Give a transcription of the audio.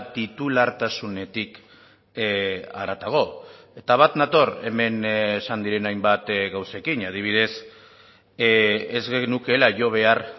titulartasunetik haratago eta bat nator hemen esan diren hainbat gauzekin adibidez ez genukeela jo behar